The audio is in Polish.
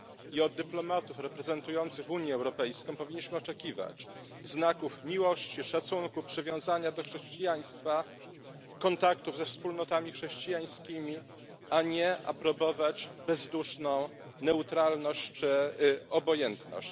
I od dyplomatów reprezentujących Unię Europejską powinniśmy oczekiwać znaków miłości, szacunku, przywiązania do chrześcijaństwa, kontaktów ze wspólnotami chrześcijańskimi, a nie aprobować bezduszną neutralność czy obojętność.